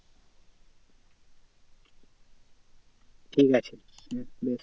ঠিক আছে হম লে।